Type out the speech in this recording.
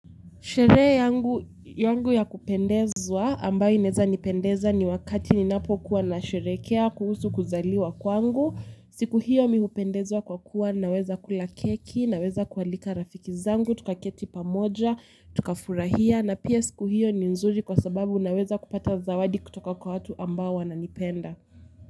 Sherehe yangu ya kupendezwa ambayo inaeza nipendeza ni wakati ninapokuwa nasherehekea kuhusu kuzaliwa kwangu. Siku hiyo mimi hupendezwa kwa kuwa naweza kula keki, naweza kualika rafiki zangu, tukaketi pamoja, tukafurahia na pia siku hiyo ni nzuri kwa sababu naweza kupata zawadi kutoka kwa watu ambao wananipenda.